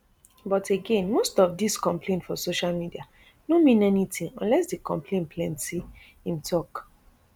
but again most of dis complain for social media no mean anytin unless di complain plenty im tok